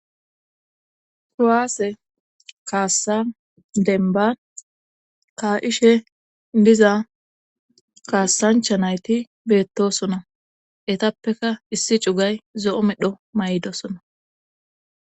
Kuwaase kaassa denba kaa7ishe diza kaassancha nayti beettosona etappeka issi cugay zo7o medho may7dosona